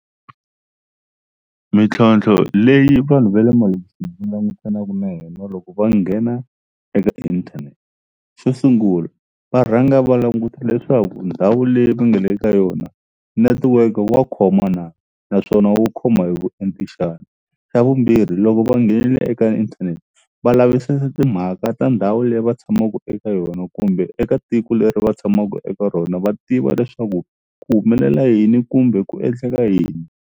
Mintlhontlho leyi vanhu va le malokixini va langusanaka na yona loko va nghena eka inthanete xo sungula va rhanga va languta leswaku ndhawu leyi va nga le ka yona network wa khoma na naswona wu khoma hi vuenti xana xa vumbirhi loko va nghene eka inthanete va lavisisa timhaka ta ndhawu leyi va tshamaka eka yona kumbe eka tiko leri va tshamaka eka rona va tiva leswaku ku humelela yini kumbe ku endleka yini.